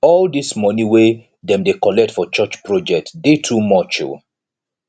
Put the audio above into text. all dese moni wey dem dey collect for church project dey too much o